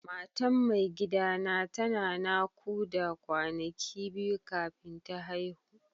Matan mai gida na tana nakuda kwanaki biyu kafin ta haihu.